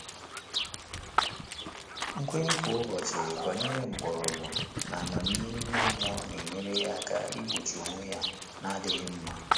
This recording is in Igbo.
Nkwènye kwá ụ́bọ̀chị̀ gbànyéré mkpọ́rọ́gwụ́ n’ámàmíhè ímé mmụ́ọ́ nà-ényéré yá áká ìgbóchí ónwé yá nà-ádị́ghị́ mmá.